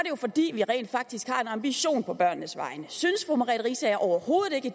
jo fordi vi rent faktisk har en ambition på børnenes vegne synes fru merete riisager overhovedet ikke